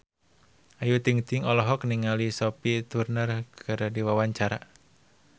Ayu Ting-ting olohok ningali Sophie Turner keur diwawancara